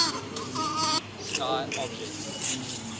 deep sky objects